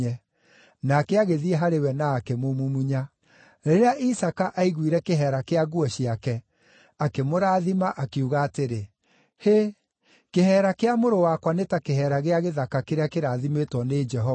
Nake agĩthiĩ harĩ we na akĩmũmumunya. Rĩrĩa Isaaka aiguire kĩheera kĩa nguo ciake, akĩmũrathima, akiuga atĩrĩ, “Hĩ, kĩheera kĩa mũrũ wakwa nĩ ta kĩheera gĩa gĩthaka kĩrĩa kĩrathimĩtwo nĩ Jehova.